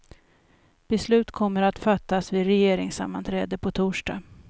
Beslut kommer att fattas vid regeringssammanträde på torsdag.